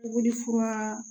Puguri furan